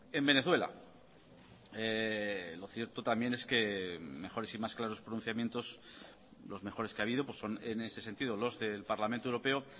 en venezuela lo cierto también es que mejores y más claros pronunciamientos los mejores que ha habido son en ese sentido los del parlamento europeo